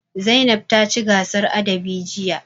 Zainab ce ta ci gasar adabi jiya.